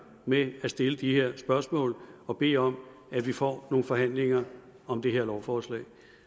ved at stille de her spørgsmål og bede om at vi får nogle forhandlinger om det her lovforslag